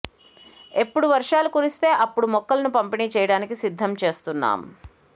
ఎప్పుడు వర్షాలు కురిస్తే అప్పుడు మొక్కలను పంపిణీ చేయడానికి సిద్ధం చేస్తున్నాం